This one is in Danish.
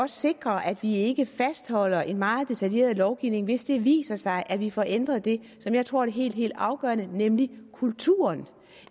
sikre at vi ikke fastholder en meget detaljeret lovgivning hvis det viser sig at vi får ændret det som jeg tror er det helt helt afgørende nemlig kulturen